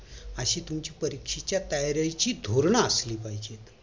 अशी तुमची परीक्षेच्या तयारीची धोरणा असली पाहिजेत